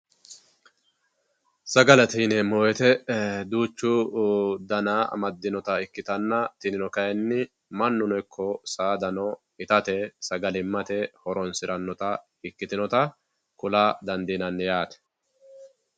sagalete yinemo woyite e duchu dana amadinotta ikitanna tinino kayinni manuno iko sadano itatte sagalimatte horonsiranota ikitinotta kulla dandinanni yatte